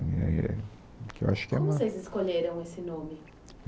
Eh...que eu acho que ela... Como vocês escolheram esse nome?